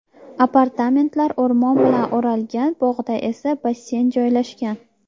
Apartamentlar o‘rmon bilan o‘ralgan, bog‘da esa basseyn joylashgan.